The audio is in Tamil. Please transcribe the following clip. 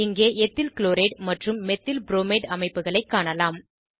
இங்கே எத்தில்க்ளோரைட் மற்றும் மெத்தில்ப்ரோமைட் அமைப்புகளை காணலாம்